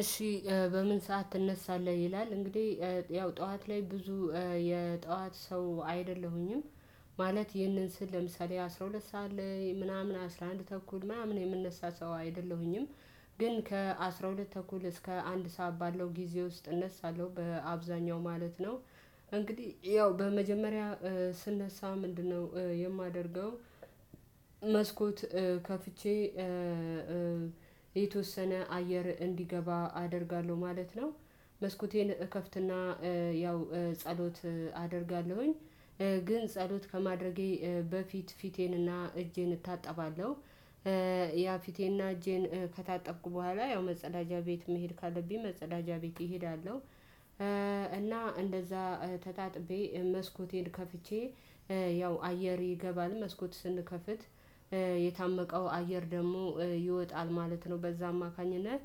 እሺ በምን ሰዓት ትነሳለህ? ይላል እንግዲህ ያው ጠዋት ላይ ብዙ የጠዋት ሰው አይደለሁኝም። ማለት ይህንን ስል ለምሳሌ አስራ ሁለት ሰዓት ላይ ምናምን አስራ አንድ ተኩል ምናምን የምነሳ ሰው አይደለሁኝም። ግን ከአሥራ ሁለት ተኩል እስከ አንድ ሰዓት ባለው ጊዜ ውስጥ እነሳለሁ በአብዛኛው ማለት ነው። እንግዲህ ያው በመጀመሪያ ስነሳ ምንድነው የማደርገው? መስኮት ከፍቼ የተወሰነ አየር እንዲገባ አደርጋለሁ ማለት ነው። መስኮቴን እከፍትና ያው ጸሎት አደርጋለሁኝ ግን ጸሎት ከማድረጌ በፊት ፊቴንና እጄን እታጠባለሁ። ያው ፊቴና እጄን ከታጠብኩ በኋላ ያው መጸዳጃ ቤት መሄድ ካለብኝ መጸዳጃ ቤት እሄዳለሁ። እና እንደዛ ተጣጥቤ መስኮቴን ከፍቼ ያው አየር ይገባል መስኮት ስንከፍት የታመቀው አየር ደግሞ ይወጣል ማለት ነው በዛ አማካኝነት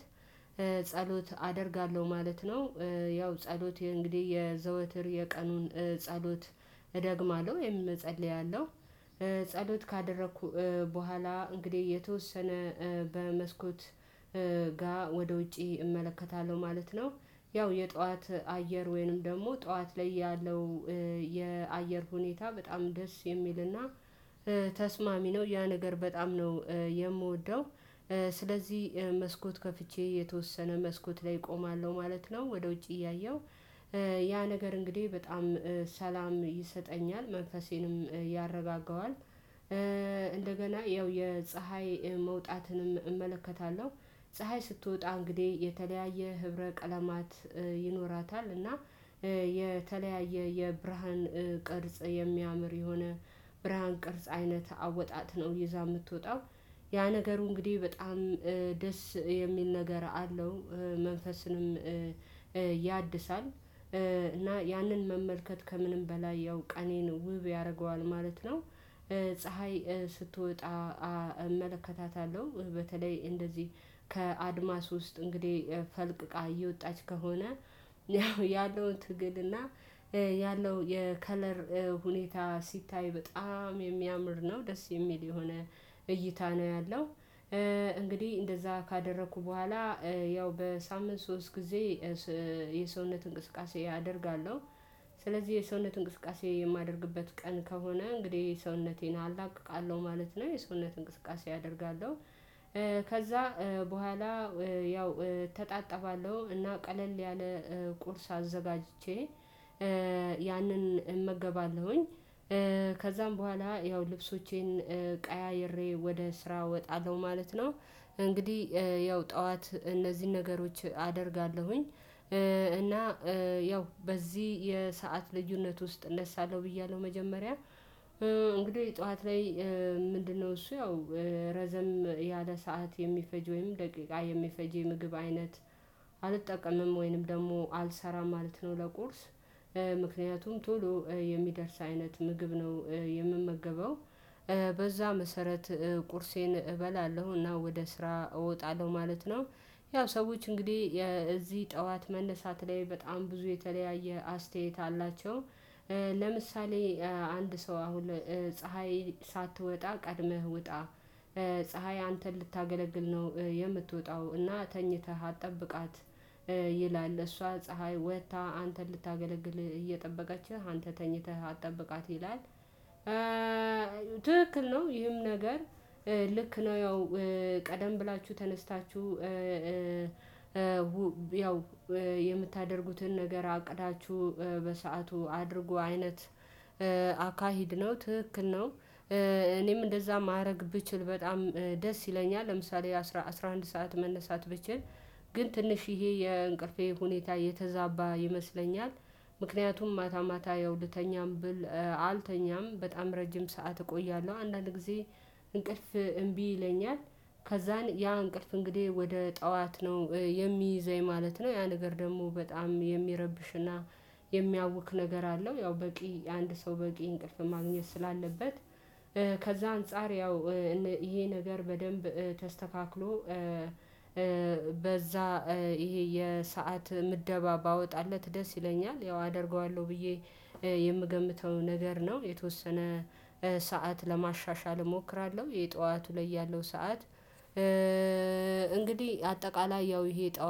ጸሎት አደርጋለሁ ማለት ነው። ያው ጸሎት እንግዲህ የዘወትር የቀኑን ጸሎት እደግማለሁ ወይም እጸልያለሁ። ጸሎት ካደረኩ በኋላ እንግዲህ የተወሰነ በመስኮት ጋር ወደ ውጪ እመለከታለሁ ማለት ነው። ያው የጠዋት አየር ወይንም ደግሞ ጠዋት ላይ ያለው የአየር ሁኔታ በጣም ደስ የሚልና ተስማሚ ነው ያ ነገር በጣም ነው የምወደው። ስለዚህ መስኮት ከፍቼ የተወሰነ መስኮት ላይ እቆማለሁ ማለት ነው። ወደ ውጭ እያየሁ ያ ነገር እንግዲህ በጣም ሰላም ይሰጠኛል መንፈሴንም ያረጋጋዋል። እንደገና ያው የፀሀይ መውጣትንም እመለከታለሁ ፀሀይ ስትወጣ እንግዲህ የተለያየ ህብረ ቀለማት ይኖራታል እና የተለያየ የብርሃን ቅርጽ የሚያምር የሆነ ብርሃን ቅርጽ አይነት አወጣጥ ነው ይዛ የምትወጣው ያ ነገሩ እንግዲህ በጣም ደስ የሚል ነገር አለው። መንፈስንም ያድሳል እና ያንን መመልከት ከምንም በላይ ያው ቀኔን ውብ ያደርገዋል ማለት ነው። ፀሀይ ስትወጣ እመለከታታለሁ። በተለይ እንደዚህ ከአድማስ ውስጥ እንግዲህ ፈልቅቃ እየወጣች ከሆነ ያለውን ትግልና እና ያለው የከለር ሁኔታ ሲታይ በጣም የሚያምር ነው ደስ የሚል የሆነ እይታ ነው ያለው። እንግዲህ እንደዛ ካደረኩ በኋላ ያው በሳምንት ሶስት ጊዜ የሰውነት እንቅስቃሴ ያደርጋለሁ። ስለዚህ የሰውነት እንቅስቃሴ የማደርግበት ቀን ከሆነ እንግዲህ ሰውነቴን አላቅቃለሁ ማለት ነው የሰውነት እንቅስቃሴ አደርጋለሁ። ከዛ በኋላ ያው እተጣጠባለሁ እና ቀለል ያለ ቁርስ አዘጋጅቼ ያንን እመገባለሁኝ። ከዛም በኋላ ያው ልብሶቼን ቀያይሬ ወደ ስራ እወጣለሁ ማለት ነው። እንግዲህ ያው ጠዋት እነዚህን ነገሮች አደርጋለሁኝ። እና ያው በዚህ የሰዓት ልዩነት ውስጥ እነሳለሁ ብያለሁ መጀመሪያ እንግዲህ ጠዋት ላይ ምንድነው? እሱ ያው ረዘም ያለ ሰዓት የሚፈጅ ወይም ደቂቃ የሚፈጅ የምግብ አይነት አልጠቀምም ወይንም ደግሞ አልሰራም ማለት ነው። ለቁርስ ምክንያቱም ቶሎ የሚደርስ አይነት ምግብ ነው የምመገበው። በዛ መሰረት ቁርሴን እበላለሁና ወደ ስራ እወጣለሁ ማለት ነው። ያው ሰዎች እንግዲህ የዚህ ጠዋት መነሳት ላይ በጣም ብዙ የተለያየ አስተያየት አላቸው። ለምሳሌ አንድ ሰው አሁን ፀሀይ ሳትወጣ ቀድመህ ውጣ ፀሀይ አንተን ልታገለግል ነው የምትወጣው እና ተኝተህ አትጠብቃት ይላል እሷ ፀሀይ ወጥታ አንተን ልታገለግል እየጠበቀችህ አንተ ተኝተህ አትጠብቃት ይላል። ትክክል ነው ይህም ነገር ልክ ነው። ያው ቀደም ብላችሁ ተነስታችሁ ያው የምታደርጉትን ነገር አቅዳችሁ በሰአቱ አድርጉ አይነት አካሄድ ነው ትክክል ነው። እኔም እንደዛ ማድረግ ብችል በጣም ደስ ይለኛል። ለምሳሌ አስራ አንድ ሰዓት መነሳት ብችል ግን ትንሽ ይሄ የእንቅልፌ ሁኔታ የተዛባ ይመስለኛል። ምክንያቱም ማታ ማታ ያው ልተኛም ብል አልተኛም በጣም ረጅም ሰዓት እቆያለሁ አንዳንድ ጊዜ እንቅልፍ እምቢ ይለኛል። ከዛን ያ እንቅልፍ እንግዲህ ወደ ጠዋት ነው የሚይዘኝ ማለት ነው። ያ ነገር ደግሞ በጣም የሚረብሽና የሚያውክ ነገር አለው። ያው በቂ አንድ ሰው በቂ እንቅልፍ ማግኘት ስላለበት። ከዛ አንፃር ያው ይሄ ነገር በደንብ ተስተካክሎ በዛ ይሄ የሰዓት ምደባ ባወጣለት ደስ ይለኛል። ያው አደርገዋለሁ ብዬ የምገምተው ነገር ነው። የተወሰነ ሰዓት ለማሻሻል እሞክራለሁ የጠዋቱ ላይ ያለው ሰዓት። እንግዲህ አጠቃላይ ያው ይሄ ጠዋት